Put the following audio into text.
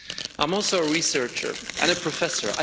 I'm also a researcher and a professor.